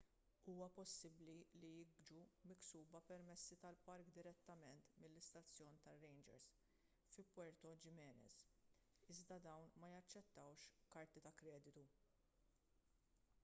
huwa possibbli li jiġu miksuba permessi tal-park direttament mill-istazzjon tar-rangers fi puerto jiménez iżda dawn ma jaċċettawx karti ta' kreditu